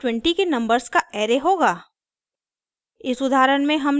output 1 से 20 के numbers का array होगा